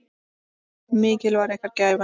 Mikil var ykkar gæfa.